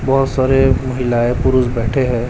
बहोत सारे महिलाएं पुरुष बैठे हैं।